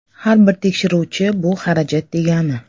Har bir tekshiruvchi bu xarajat degani.